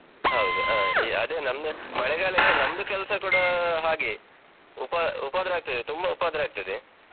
ಹೌದು, ಅಹ್ ಅದೆ ನಮ್ದು ಮಳೆಗಾಲಕ್ಕೆ ನಮ್ದು ಕೆಲ್ಸ ಕೂಡ ಹಾಗೆಯೆ ಉಪ~ ಉಪದ್ರ ಆಗ್ತದೆ, ತುಂಬ ಉಪದ್ರ ಆಗ್ತದೆ.